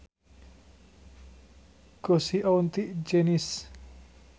Go see auntie Janice